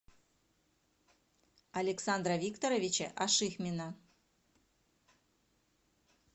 александра викторовича ашихмина